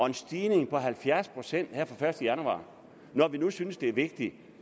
en stigning på halvfjerds procent her første januar når vi nu synes det er vigtigt